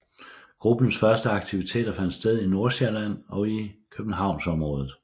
Gruppens første aktiviteter fandt sted i Nordsjælland og i Københavnsområdet